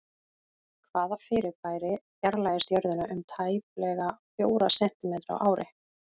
Hvaða fyrirbæri fjarlægist Jörðina um tæplega fjóra sentímetra á ári?